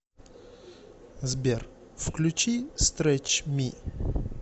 сбер включи стретч ми